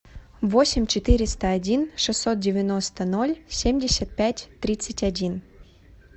восемь четыреста один шестьсот девяносто ноль семьдесят пять тридцать один